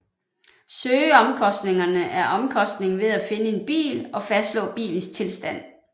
Søgeomkostningerne er omkostningen ved at finde en bil og fastslå bilens tilstand